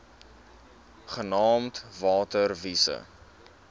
genaamd water wise